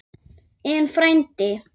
En, frændi